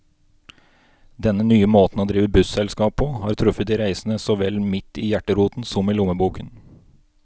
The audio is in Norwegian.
Denne nye måten å drive busselskap på, har truffet de reisende så vel midt i hjerteroten som i lommeboken.